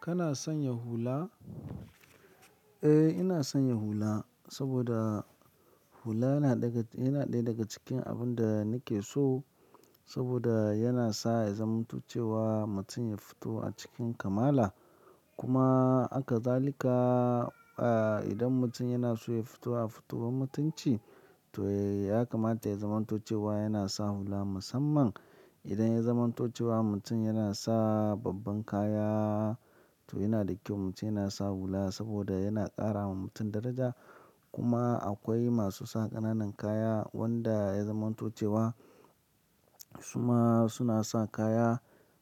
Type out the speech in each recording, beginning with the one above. Kana sanya hula? Eh, ina sanya hula saboda hula yana ɗaga yana daya daga cikin abun da nake so. Saboda yana sa ya zamanto cewa mutum ya fito a cikin kamala. Kuma haka zalika ai idan mutum yana so ya fito a fitowan mutunci. To ya kamata ya zamanto cewa yana sa hula musamman. Idan ya zamanto cewa mutum yana sa babban kaya, to yana da kyau mutum yana sa hula saboda yana ƙara wa mutum daraja. Kuma akwai masu sa ƙananan kaya wanda ya zamanto cewa su ma suna sa kaya.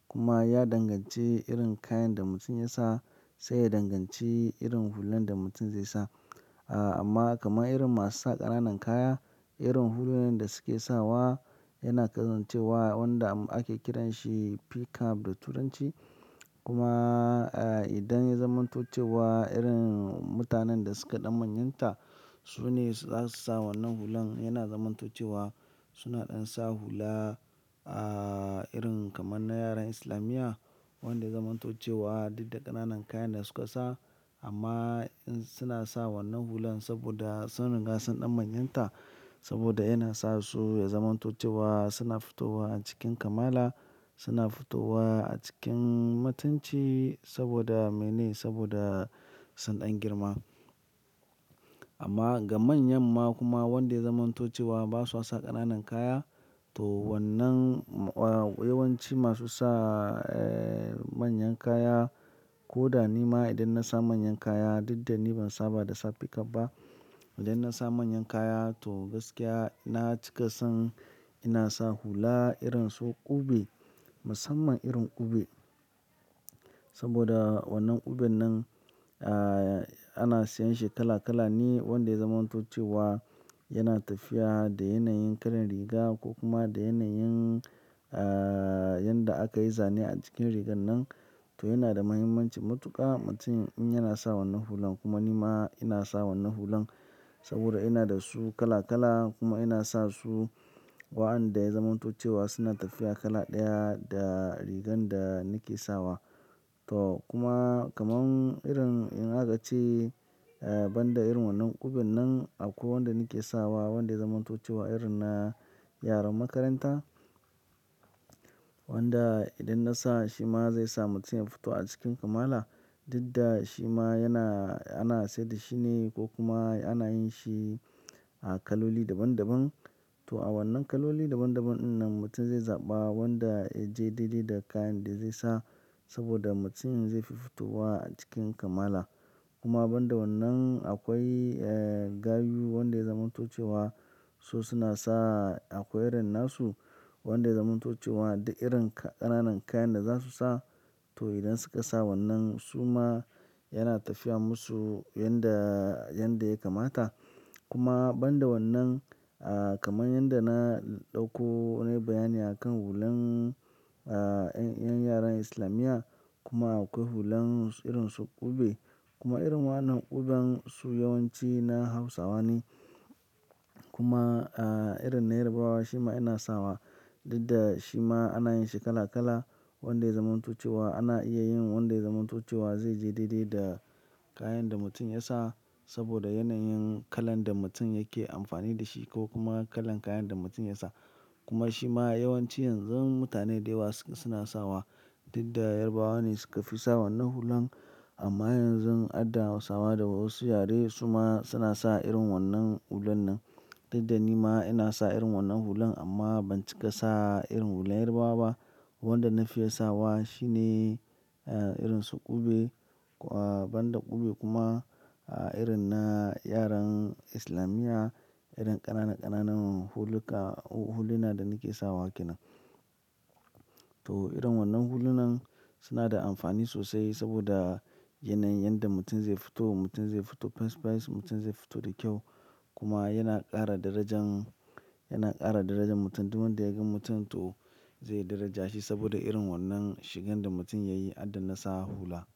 Kuma ya danganci irin kayan da mutum ya sa sai ya danganci irin hulan da mutum zai sa aa. Amma kamar irin masu sa ƙananan kaya, irin hulunan nan da suke sawa yana kasancewa wanda ake kiranshi p-cap da turanci. Kuma a idan ya zamanto cewa irin mutanen da suka ɗan manyanta su ne za su sa wannan hulan yana zamanto cewa suna ɗan sa hula ah irin kaman na yaran islamiyya wanda ya zamanto cewa duk da ƙananan kayan da suka sa amma suna sa wannan hulan saboda sun ringa sun ɗan manyanta. Saboda yana sa su ya zamanto cewa suna fitowa a cikin kamala, suna fitowa a cikin mutunci saboda mene? Saboda sun ɗan girma. Amma ga manyan ma kuma wanda ya zamanto cewa ba sa sa ƙananan kaya to wannan eh yawanci masu sa eh manyan kaya ko da ni ma idan na sa manyan kaya, duk da ni ban sa ba da saf p-cap ba. Idan na sa manyan kaya to gaskiya na cika son ina sa hula irin su ƙube musamman irin ƙube. Saboda wannan uben nan ana sayan shi kala kala ne wanda ya zamanto cewa yana tafiya da yanayin kalar riga ko kuma da yanayin ah yanda aka yi zane a jikin rigan nan. To yana da muhimmanci matuƙa mutum in yana sa wannan hulan. Kuma ni ma ina sa wannan hulan saboda ina da su kala kala kuma ina sa su wa'anda ya zamanto cewa suna tafiya kala ɗaya da rigan da nake sawa. To kuma kaman irin in aka ce banda irin wannan ƙuben nan akwai wanda nake sawa wanda ya zamanto cewa irin na yaran makaranta. Wanda idan na sa shi ma zai sa mutum ya fito a cikin kamala. Duk da shi ma yana, ana sayar da shi ne ko kuma ana yin shi a kaloli daban daban. To a wannan kaloli daban daban in nan mutum zai zaɓa wanda ya je daidai da kayan da zai sa saboda mutum zai fi fitowa a cikin kamala. Kuma banda wannan akwai eh gayu wanda ya zamanto cewa su suna sa akwai irin na su wanda ya zamanto cewa duk irin ƙananan kayan da za su sa to idan suka sa wannan su ma yana tafiya musu yanda, yanda ya kamata. Kuma banda wannan ah kaman yanda na ɗauko nayi bayani a kan hulan 'yan yaran islamiyya kuma akwai hulan irin su ƙube kuma irin wannan ƙuben su yawanci na Hausawa ne. Kuma irin na Yarbawa shi ma ina sawa. Duk da shi ma ana yin shi kala kala wanda ya zamanto cewa ana iya yin wanda ya zamanto cewa zai je daidai da kayan da mutum ya sa. Saboda yanayin kalan da mutum yake amfani da shi ko kuma kalan kayan da mutum ya sa. Kuma shi ma yawanci yanzun mutane da yawa suna sawa. Duk da Yarbawa ne suka fi sa wannan hulan amma yanzun hadda Hausawa da wasu yare su ma suna sa irin wannan hulan nan. Duk da ni ma ina sa irin wannan hulan amma ban cika sa irin hulan Yarbawa ba. Wanda na fi ye sawa shi ne irin su ƙube banda ƙube kuma irin na yaran islamiyya, irin ƙanana ƙananan huluka, huluna da nake sawa ke nan. To irin wannan hulunan suna da amfani sosai saboda yanayin yanda mutum zai fito, mutum zai fito fes fes, mutum zai fito da kyau kuma yana ƙara darajan, yana ƙara darajan mutum. Duk wanda ya gan mutum to zai daraja shi saboda irin wannan shigan da mutum ya yi hadda na sa hula.